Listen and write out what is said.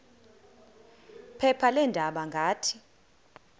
phepha leendaba ngathi